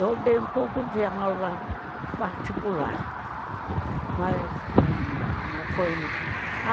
Eu dei um pouco de aula particular, mas não foi